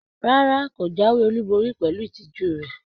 Rárá, ko jáwéolubori pẹlú ìtìjú rẹ.